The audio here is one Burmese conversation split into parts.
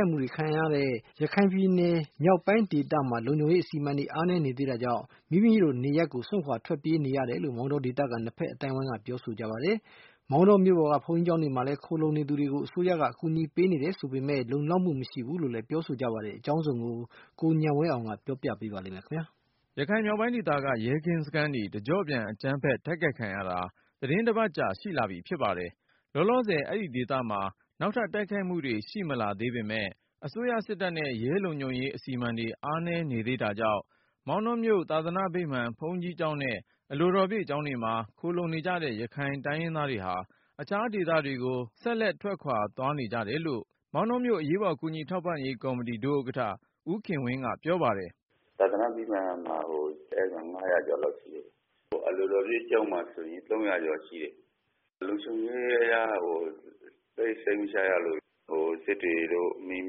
က်မှု ခံခဲ့ရတဲ့ ရခိုင်ပြည်နယ် မြောက်ပိုင်းဒေသမှာ လုံခြုံရေး အစီအမံတွေ အားနည်းနေသေးတာကြောင့် မိမိတို့နေရပ်ကို စွန့်ခွာပြေးနေ ရတယ်လို့ မောင်တောဒေသခံ နှစ်ဖက်အသိုင်းအဝိုင်းက ပြောပါတယ်။ မောင်တောမြို့ပေါ်က ဘုန်းကြီးကျောင်းတွေမှာ ခိုလှုံနေ သူတွေကို အစိုးရအကူအညီပေးတယ် ဆိုပေမယ့် လုံလောက်မှု မရှိဘူးလို့လည်း ပြောဆိုကြပါတယ်။ အကြောင်းစုံကို ကိုဉာဏ်ဝင်းအောင်က ပြောပြမှာပါ။ ရခိုင်မြောက်ပိုင်းဒေသက ရဲကင်းစခန်းတွေ တကြော့ပြန် အကြမ်းဖက် တိုက်ခိုက်ခံရတာ သီတင်းတပတ်ကြာ ရှိလာပြီဖြစ်ပါတယ်။ လောလော ဆယ် အဲဒီဒေသမှာ နောက်ထပ်တိုက်ခိုက်မှုတွေ ရှိမလာသေးပေမယ့် အစိုးရစစ်တပ်နဲ့ ရဲလုံခြုံရေးအစီအမံတွေ အားနည်းနေသေးတာကြောင့် မောင်တောမြို့ သာသနာ့ ဗိမာန် ဘုန်းကြီးကျောင်းနဲ့ အလိုတော်ပြည့်ကျောင်းတွေမှာ ခိုလှုံနေကြတဲ့ ရခိုင်တိုင်းရင်းသားတွေဟာ အခြားဒေသ တွေကို ဆက်လက် ထွက်ခွာသွားနေ ကြတယ်လို့ မောင်တောမြို့အရေးပေါ် ကူညီထောက်ပံ့ရေးကော်မတီ ဒုဥက္ကဌ ဦးခင်ဝင်းက ပြောပါတယ်။ “သာသနာ့ဗိမာန်မှာကို ၅၀၀ ကျော်ရှိတယ်။ အလိုတော်ပြည့်ကျောင်းမှာဆိုရင် ၃၀၀ ကျော်ရှိတယ်။ လုံခြုံရေးအရကို သိပ်စိတ်မချရလို့ စစ်တွေတို့ မင်း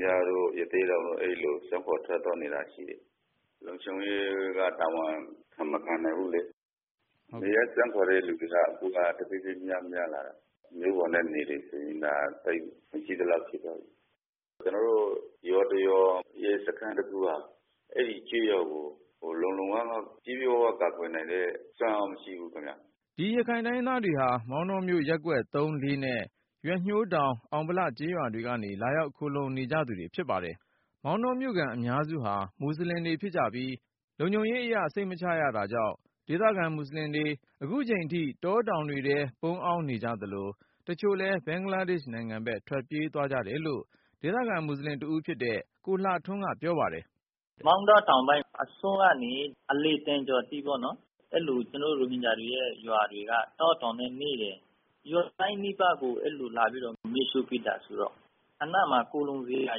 ပြားတို့ ရသေ့တောင်တို့ အဲဒီဒေသကို စွန့်ခွာထွက်သွားနေတာ ရှိတယ်။ လုံခြုံရေးက တာဝန်မခံနိုင်ဘူးလေ။ နေရပ်စွန့်ခွာတဲ့ သူတွေက အခုက တဖြည်းဖြည်း များများလာတာ၊ မြို့ပေါ်နဲ့ နယ်တွေဆိုရင် ဒါသိပ်မရှိသလောက် ဖြစ်သွားပြီ။ ကျနော်တို့ ရွာတရွာ ရဲစခန်း တခုဟာ အဲဒီကျေးရွာကို လုံလုံလောက်လောက် ပြည့်ပြည့်ဝဝ ကာကွယ်နိုင်တဲ့ စွမ်းအားမရှိဘူးခင်ဗျ။” ဒီ ရခိုင်တိုင်းရင်းသားတွေဟာ မောင်တောမြို့ ရပ်ကွက်(၃)(၄)နဲ့ ရွက်ညှိုးတောင်၊ အောင်ဗလကျေးရွာတွေကနေ လာရောက်ခိုလှုံနေသူတွေ ဖြစ်ပါတယ်။ မောင်တောမြို့ခံ အများစုဟာ မွတ်ဆလင်တွေဖြစ်ကြပြီး လုံခြုံရေးအရ စိတ်မချရတာကြောင့် ဒေသခံမူဆလင်တွေ ခုချိန်ထိ တောတောင်တွေထဲ ပုန်းအောင်းနေကြသလို၊ တချို့လည်း ဘင်္ဂလားဒေ့ရှ်နိုင်ငံဘက် ထွက်ပြေးသွားကြတယ်လို့ ဒေသခံမွတ်ဆလင် တဦးဖြစ်တဲ့ ကိုလှထွန်းက ပြောပါတယ်။ “ မောင်တော တောင်ပိုင်းအစွန်းကနေ အလယ်သံကျော်ထိပေါ့နော်.. အဲလို ကျနော်တို့ ရိုဟင်ဂျာတွေရဲ့ ရွာတွေက တောတောင်နဲ့နီးတယ်။ ရွာတိုင်းနီးပါးကို လာပြီးတော့ အဲလို မီးရှို့ပစ်တာဆိုတော့ အနားမှာခိုလှုံစရာ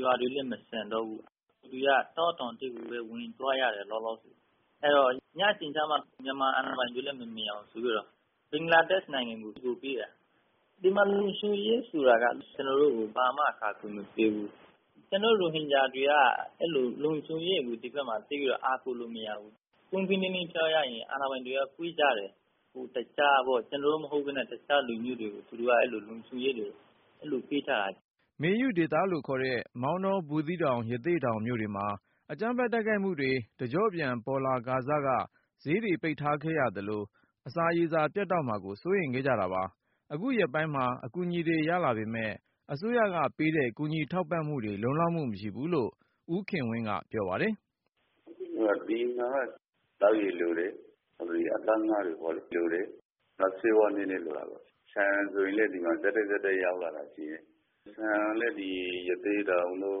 ရွာတွေလဲ မကျန်တော့ဘူး။ လူတွေက တောတောင်ထဲကိုပဲ လောလောဆယ် ဝင်သွားရတယ်။ အဲဒီတော့ ညအချိန်ကျမှ မြန်မာအာဏာပိုင်တွေလည်း မမြင်အောင် ဆိုပြီးတော့ ဘင်္ဂလားဒေ့ရှ်နိုင်ငံကို သူတို့ပြေးတယ်။ ဒီမှာ လုံခြုံရေးဆိုတာက ကျနော်တို့ကို ဘာမှ အကာအကွယ် မပေးဘူး။ ကျနော်တု့ိ ရိုဟင်ဂျာတွေက ဒီဖက်မှာ လုံခြုံရေးကို သိပ်ပြီးတော့ အားကိုးလို့ မရဘူး။ ပွင့်ပွင့်လင်းလင်း ပြောရရင် အာဏာပိုင်တွေက ခွဲခြားတယ်။ ကျနော်တို့ မဟုတ်ပဲနဲ့ တခြားလူမျိုးတွေဆိုရင် အဲလို လုံခြုံရေးပေးထားတာပါ။” မေယုဒေသလို့ခေါ်တဲ့ မောင်တော ဘူးသီးတောင် ရသေ့တောင်မြို့တွေမှာ အကြမ်းဖက်တိုက်ခိုက်မှုတွေ တကြော့ပြန် ပေါ်လာခါစက ဈေးတွေ ပိတ်ထားခဲ့သလို အစာရေစာ ပြတ်တောက်မှာကို စိုးရိမ်ခဲ့ကြတာပါ။ အခုရက်ပိုင်းမှာ အကူအညီတွေ ရလာပေမယ့် အစိုးရကပေးတဲ့ ကူညီ ထောက်ပံ့မှုတွေ လုံလောက်မှုမရှိဘူးလို့ ဦးခင်ဝင်းက ပြောပါတယ်။ “ဒီမှာက သောက်ရေလိုတယ်.. အသားငါး လိုတယ်.. နောက် ဆေးဝါး နည်းနည်းလိုတာပေါ့။ ဆန်ဆိုရင်လည်း ဒီမှာ ဆက်တိုက်ရောက် လာတာရှိတယ်။ ဆန်ကတော့ ရသေ့တောင်တို့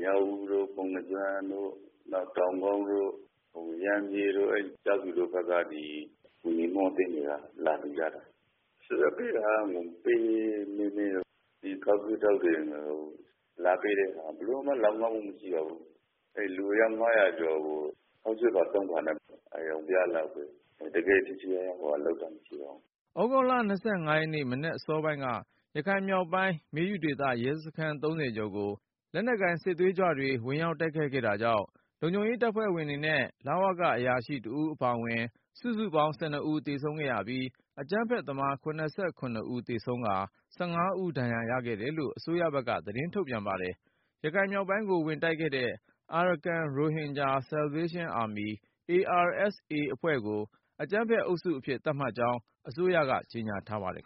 မြောက်ဦးတို့ ပုဏ္ဏားကျွန်းတို့.. နောက် တောင်ကုတ်တို့ ရမ်းဗြဲတို့ ကျောက်ဖြူတို့ဘက်က အဲဒီ ကူညီမှုအသင်းတွေက လာလှူကြတာ။ အစိုးရက ပေးတာက ပဲနည်းနည်း ဒီခေါက်ဆွဲခြောက်တွေ လာပေးတဲ့ဟာ ဘယ်လိုမှ လောက်ငှမှု မရှိဘူး။ အဲဒီလူအယောက် ၅၀၀ကျော်ကို ခေါက်ဆွဲဖာ(၃)ဖာနဲ့ဆိုတော့ အရောင်ပြလောက်ပဲ၊ တကယ့်ထိထိရောက်ရောက် ဟိုဟာလုပ်တာ မရှိပါဘူး။” သြဂုတ်လ ၂၅ ရက်နေ့ မနက်အစောပိုင်းက ရခိုင်မြောက်ပိုင်း မေယုဒေသက ရဲကင်းစခန်း ၃၀ ကျော်ကို လက်နက်ကိုင် စစ်သွေးကြွတွေ ဝင်တိုက်ခိုက်ခဲ့တာကြောင့် လုံခြုံရေး တပ်ဖွဲ့ဝင်တွေနဲ့ လဝက အရာရှိတဦးအပါဝင် စုစုပေါင်း ၁၂ ဦး သေဆုံးပြီး အကြမ်းဖက်သမား ၇၇ ဦးသေဆုံးကာ ၁၅ ဦးဒဏ်ရာရခဲ့တယ်လို့ အစိုးရဘက်က သတင်းထုတ်ပြန်ပါတယ်။ ရခိုင်မြောက်ပိုင်းကို ဝင်တိုက်ခဲ့တဲ့ Arakan Rohingya Salvation Army(ARSA) အဖွဲ့ကို အကြမ်းဖက်အုပ်စုအဖြစ် သတ်မှတ်ကြောင်း အစိုးရက ကြေညာထားပါတယ်